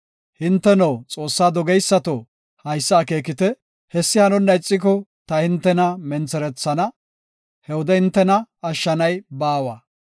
Hinteno, Xoossaa dogeysato, haysa akeekite; hessi hanonna ixiko ta hintena mentherethana; he wode hintena ashshanay baawa.